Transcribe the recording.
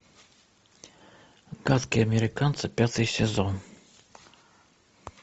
гадкие американцы пятый сезон